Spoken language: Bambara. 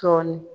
Tɔni